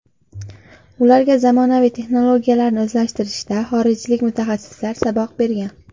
Ularga zamonaviy texnologiyalarni o‘zlashtirishda xorijlik mutaxassislar saboq bergan.